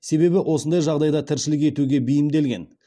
себебі осындай жағдайда тіршілік етуге бейімделген